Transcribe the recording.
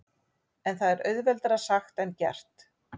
En það er auðveldara sagt en gert.